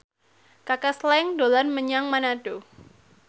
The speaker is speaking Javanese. Kaka Slank dolan menyang Manado